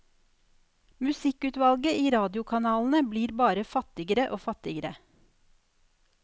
Musikkutvalget i radiokanalene blir bare fattigere og fattigere.